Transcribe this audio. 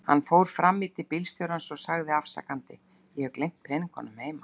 Hann fór fram í til bílstjórans og sagði afsakandi: Ég hef gleymt peningunum heima.